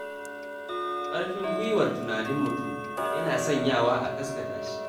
Ƙarfin guiwar bayyana tunanin mutum, yana sanyawa a gasgata shi.